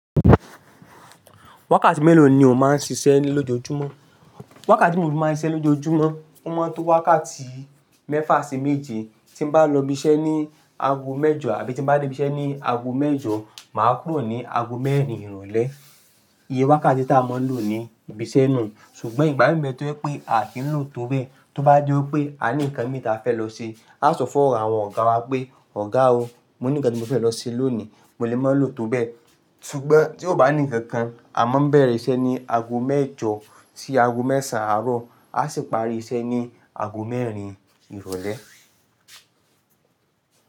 Wákàtí mélòó ni o máa ń ṣiṣẹ́ lójoojúmọ́? Wákàtí tí mó máa ń ṣiṣẹ́ lójoojúmọ́. Ó máa ń tó wákàtí mẹ́fà sí méje. Tí bá lọ ibiṣẹ́ ní aago mẹ́jọ, àbí tí mo bá dé ibiṣẹ́ ní aago mẹ́jọ, màá kúrò ní aago mẹ́rin ìrọ̀lẹ́. Iye wákàtí tí a máa ń lò ní ibi iṣẹ́ nù, ṣùgbọ́n ìgbà mìíràn tó pé pé a kì í lò tó bẹ́ẹ̀, tó bá jé ó pé a ní ǹkan mìíràn tí a fẹ́ lọ ṣe. A sọ fún àwọn ọ̀gá wa pé, "Ọ̀gá o, mo ní ǹkan tí mo fẹ́ lọ ṣe lónìí, mo lè máa lò tó bẹ́ẹ̀." ṣùgbọ́n tí kò bá ní ǹkan kan, a máa ń bẹ̀rẹ̀ iṣẹ́ ní aago mẹ́jọ sí aágo mẹ́sàn-án àárọ̀, a sì parí iṣẹ́ ní aago mẹ́rin ìrọ̀lẹ́.